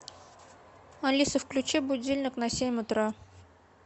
алиса включи будильник на семь утра